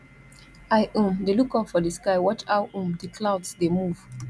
i um dey look up for di sky watch how um di clouds dey move